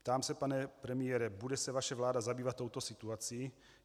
Ptám se, pane premiére, bude se vaše vláda zabývat touto situací?